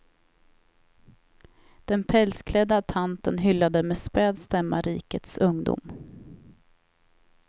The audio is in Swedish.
Den pälsklädda tanten hyllade med späd stämma rikets ungdom.